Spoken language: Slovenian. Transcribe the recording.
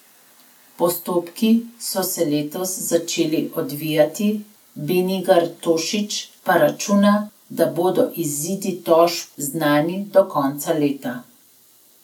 Postopki so se letos začeli odvijati, Benigar Tošič pa računa, da bodo izidi tožb znani do konca leta.